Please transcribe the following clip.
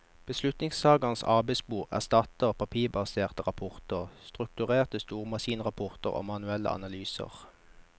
Beslutningstagerens arbeidsbord erstatter papirbaserte rapporter, strukturerte stormaskinrapporter og manuelle analyser.